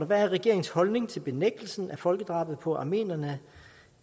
hvad er regeringens holdning til benægtelsen af folkedrabet på armenierne